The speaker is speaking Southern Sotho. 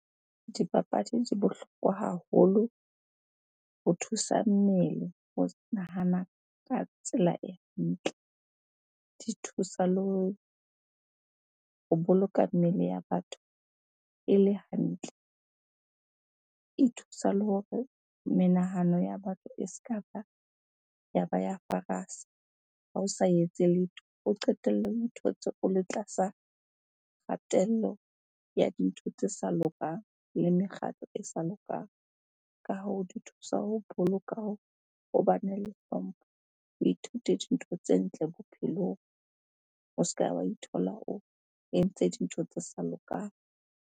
Dipapadi di bohlokwa haholo ho thusa mmele ho nahana ka tsela e ntle. Di thusa le ho boloka mmele ya batho e le hantle. E thusa le hore menahano ya batho e se ka yaba ya ha o sa etse letho, o qetelle o ithotse o le tlasa kgatello ya dintho tse sa lokang le mekgatlo e sa lokang. Ka hoo, di thusa ho boloka ho bane le hlompho, o ithute dintho tse ntle bophelong. O se ke wa ithola o entse dintho tse sa lokang.